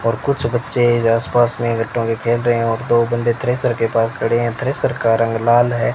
और कुछ बच्चे आस पास में खेल रहे है और दो बंदे थ्रेसर के पास खड़े हैं और थ्रेसर का रंग लाल है।